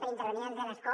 per intervenir des de l’escó